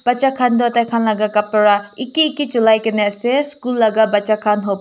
bacha khan toh hoile taikhan laga kapara eki eki cholai kena ase school laga bacha khan hobo.